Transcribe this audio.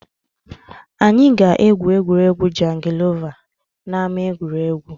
Anyị ga-egwu egwuregwu jangilova n’ama egwuregwu